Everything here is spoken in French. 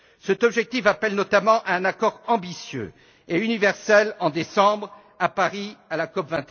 Cet objectif appelle notamment un accord ambitieux et universel en décembre, à Paris, à la COP